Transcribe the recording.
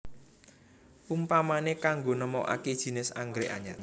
Umpamané kanggo nemokaké jinis anggrèk anyar